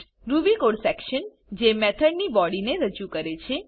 Ruby code section જે method ની બોડીને રજુ કરે છે